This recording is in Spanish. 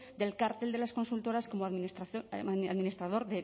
del cártel de las consultoras como administrador